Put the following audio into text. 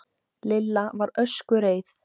Lilla var öskureið.